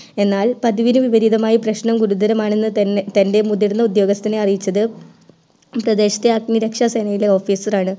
എന്നാൽ പതിവിന് വിപരീതമായി പ്രശ്നം ഗുരുതരമാണെന്ന്‌ തൻ്റെ ഉയർന്ന ഉദ്യോഗസ്ഥനെ അറിയിച്ചത് പ്രദേശത്തെ അഗ്നിരക്ഷാ സേനയുടെ officer ആണ്‌